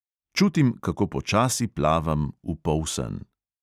Čutim, kako počasi plavam v polsen.